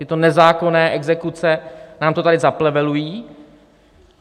Tyto nezákonné exekuce nám to tady zaplevelují.